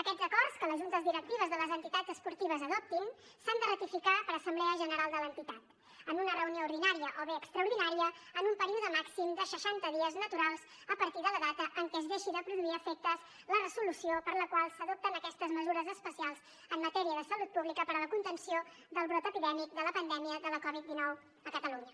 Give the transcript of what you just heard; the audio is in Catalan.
aquests acords que les juntes directives de les entitats esportives adoptin s’han de ratificar per assemblea general de l’entitat en una reunió ordinària o bé extraordinària en un període màxim de seixanta dies naturals a partir de la data en què es deixi de produir efectes la resolució per la qual s’adopten aquestes mesures especials en matèria de salut pública per a la contenció del brot epidèmic de la pandèmia de la covid dinou a catalunya